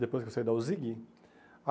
Depois que eu saí da Uzigui.